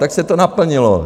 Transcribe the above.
Tak se to naplnilo.